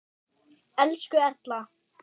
Elsku Erla.